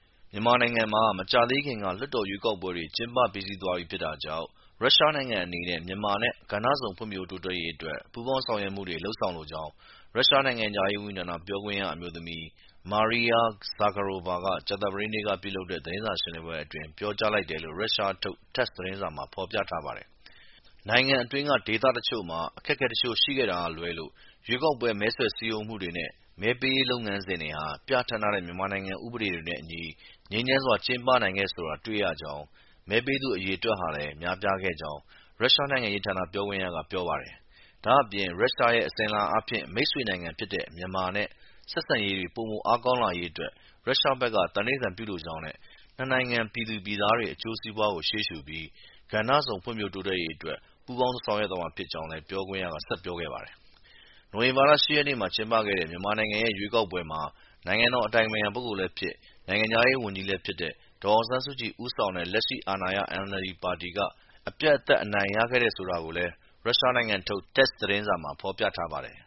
မြန်မာနိုင်ငံမှာ မကြာသေးခင်က လွှတ်တော်ရွေးကောက်ပွဲတွေ ကျင်းပ ပြီးစီးသွားပြီဖြစ်တာကြောင့် ရုရှားနိုင်ငံအနေနဲ့ မြန်မာနဲ့ ကဏ္ဍစုံ ဖွံ့ဖြိုးတိုးတက်ရေးအတွက် ပူးပေါင်း ဆောင်ရွက်မှုတွေလုပ်ဆောင်လိုကြောင်း ရုရှားနိုင်ငံခြားရေးဝန်ကြီးဌာန ပြောခွင့်ရအမျိုးသမီး Maria Zakharova က ကြာသပတေးနေ့မှာ ပြုလုပ်တဲ့ သတင်းစာရှင်းလင်းပွဲအတွင်း ပြောကြားလိုက်တယ်လို့ ရုရှားနိုင်ငံထုတ် TASS သတင်းမှာ ဖော်ပြထားပါတယ်။ “နိုင်ငံအတွင်းက ဒေသတချို့မှာ အခက်အခဲ တချို့ရှိခဲ့တာကလွဲလို့ ရွေးကောက်ပွဲ မဲဆွယ် စည်းရုံးမှုတွေနဲ့ မဲပေးတဲ့လုပ်ငန်းစဉ်တွေဟာ ပြဌာန်းထားတဲ့ မြန်မာနိုင်ငံ ဥပဒေတွေနဲ့အညီ ငြိမ်းချမ်းစွာ ကျင်ပနိုင်ခဲ့တယ်ဆိုတာကို တွေ့ရကြောင်း၊ မဲပေးသူအရေအတွက်ဟာလည်း များပြားခဲ့ကြောင်း” ရုရှားနိုင်ငံခြားရေးဌာန ပြောခွင့်ရက ပြောပါတယ်။ ဒါ့အပြင် “ရုရှားရဲ့ အစဉ်အလာအားဖြင့် မိတ်ဆွေနိုင်ငံဖြစ်တဲ့ မြန်မာနဲ့ ဆက်ဆံရေးတွေ ပိုမို အားကောင်းလာရေး ရုရှားဘက်က သံဓိဌာန်ပြုလိုကြောင်းနဲ့ နှစ်နိုင်ငံပြည်သူ၊ ပြည်သားတွေ အကျိုးစီးပွားကို ရှေ့ရှုပြီး ကဏ္ဍစုံဖွံ့ဖြိုးတိုးတက်ရေးအတွက် ပူးပေါင်း ဆောင်ရွက်သွားမှာဖြစ်ကြောင်း” လည်း ပြောခွင့်ရက ဆက်ပြောခဲ့ပါတယ်။ နိုဝင်ဘာလ ၈ ရက်နေ့မှာ ကျင်းပခဲ့တဲ့ မြန်မာနိုင်ငံရဲ့ အထွေထွေရွေးကောက်ပွဲမှာ နိုင်ငံတော်အတိုင်ပင်ခံပုဂ္ဂိုလ်လည်းဖြစ်၊ နိုင်ငံခြားရေးဝန်ကြီးလည်းဖြစ်တဲ့ ဒေါ်အောင်ဆန်းစုကြည် ဦးဆောင်တဲ့ လက်ရှိအာဏာရ NLD ပါတီက အပြတ်အသတ် အနိုင်ရခဲ့တယ်ဆိုတာကိုလည်း ရုရှားနိုင်ငံထုတ် TASS သတင်းမှာ ဖော်ပြထားပါတယ်